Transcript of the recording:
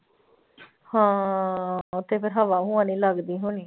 ਹਾਂ ਉੱਥੇ ਫਿਰ ਹਵਾ ਹੂਵਾ ਨੀ ਲੱਗਦੀ ਹੋਣੀ।